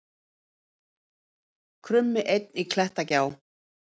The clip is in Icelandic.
Krummi einn í klettagjá